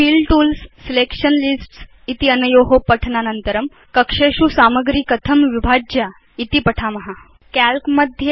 fill tools selection lists चेत्यनयो पठनानन्तरं वयमधुना कक्षेषु सामग्री कथं विभाज्या इति पठिष्याम